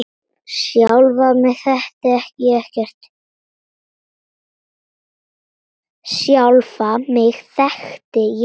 Sjálfa mig þekkti ég ekkert.